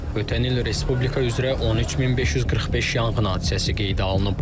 Ötən il respublika üzrə 13545 yanğın hadisəsi qeydə alınıb.